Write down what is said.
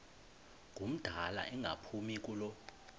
ngumdala engaphumi kulo